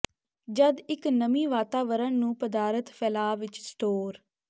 ਜਦ ਇੱਕ ਨਮੀ ਵਾਤਾਵਰਣ ਨੂੰ ਪਦਾਰਥ ਫੈਲਾਅ ਵਿੱਚ ਸਟੋਰ